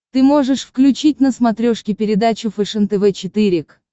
ты можешь включить на смотрешке передачу фэшен тв четыре к